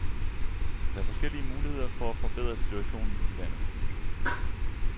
Der er forskellige muligheder for at forbedre situationen i landet.